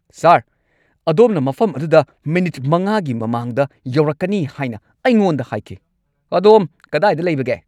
ꯁꯥꯔ, ꯑꯗꯣꯝꯅ ꯃꯐꯝ ꯑꯗꯨꯗ ꯃꯤꯅꯤꯠ ꯃꯉꯥꯒꯤ ꯃꯃꯥꯡꯗ ꯌꯧꯔꯛꯀꯅꯤ ꯍꯥꯏꯅ ꯑꯩꯉꯣꯟꯗ ꯍꯥꯏꯈꯤ꯫ ꯑꯗꯣꯝ ꯀꯗꯥꯏꯗ ꯂꯩꯕꯒꯦ?